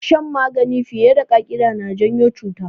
Shan magani fiye da ƙa'ida yana janyo cuta